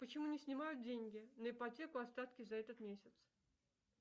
почему не снимают деньги на ипотеку остатки за этот месяц